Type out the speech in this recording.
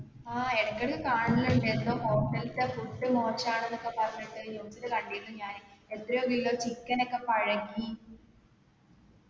ആ ഇടക്കെടക് കാണലിണ്ട് എന്തോ hostel തെ food മാഷാണ് എന്നൊക്കെ പറഞ്ഞിട്ട് news ൽ കണ്ടിരുന്നു ഞാൻ എത്രയോ kilo chicken ഒക്കെ പഴുകി